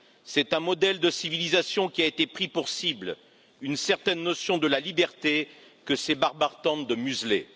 C'est un modèle de civilisation qui a été pris pour cible, une certaine notion de la liberté que ces barbares tentent de museler.